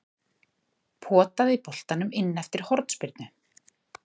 Potaði boltanum inn eftir hornspyrnu.